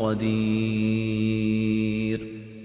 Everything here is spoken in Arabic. قَدِيرٌ